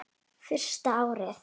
Fyrsta árið.